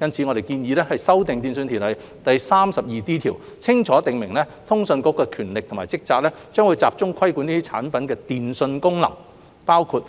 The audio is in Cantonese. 因此，我們建議修訂《電訊條例》第 32D 條，清楚訂明通訊事務管理局的權力及職責將集中規管這些產品的電訊功能，包括